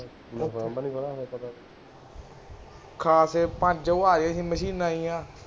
ਖਾ ਕੇ ਪੰਜ ਉਹ ਆਇਆ ਸੀ ਮਸ਼ੀਨ ਜਿਹੀਆਂ